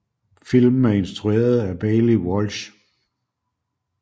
Filmen er instrueret af Baillie Walsh